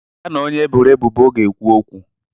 Ya na onye e boro ebubo ga-ekwu okwu.